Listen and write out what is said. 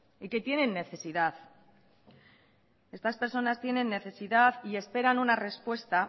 yque tienen necesidad estas personas tienen necesidad y esperan una respuesta